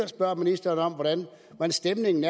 spørge ministeren om hvordan stemningen